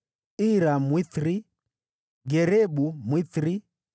Ira, Mwithiri; Garebu, Mwithiri;